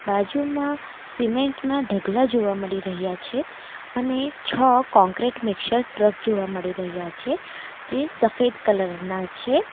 બાજુમાં સિમેન્ટના ઢગલા જોવા મળી રહ્યા છે અને છ કોન્ક્રીટ મિક્સર ટ્રક જોવા મળી રહ્યા છે જે સફેદ કલરના છે.